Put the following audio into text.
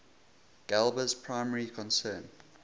galba's primary concern